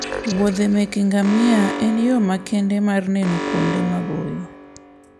wuodhe meke ngamia en yo makende mar neno kuonde maboyo